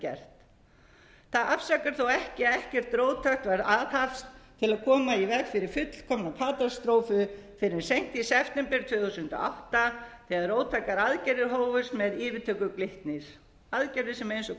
gert það afsakar þó ekki að ekkert róttækt var aðhafst til að koma í veg fyrir fyrir fullkomna katastrófu fyrr en seint í september tvö þúsund og átta þegar róttækar aðgerðir hófust með yfirtöku glitnis aðgerðir sem eins og